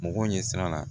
Mɔgɔw ɲɛ sira la